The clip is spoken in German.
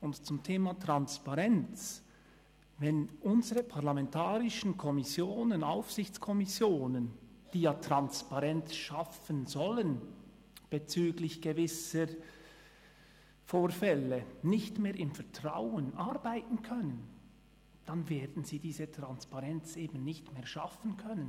Und zum Thema Transparenz: Wenn unsere parlamentarischen Kommissionen, Aufsichtskommissionen, die ja bezüglich gewisser Vorfälle Transparenz schaffen sollen, nicht mehr im Vertrauen arbeiten können, dann werden sie diese Transparenz eben nicht mehr schaffen können.